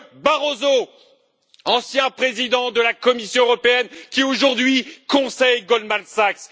Barroso, ancien président de la Commission européenne, qui aujourd'hui conseille Goldman Sachs